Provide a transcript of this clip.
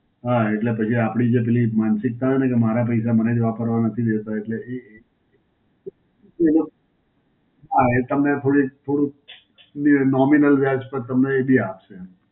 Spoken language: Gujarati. હાં, એટલે પછી આપડી જે પેલી માનસિકતા હોય ને કે મારા પૈસા મને જ વાપરવા નથી દેતાં. એટલે એ, કોઈનો, હાં એ તમે થોડીક થોડું એ nominal વ્યાજ પર તમને એ બી આપશે.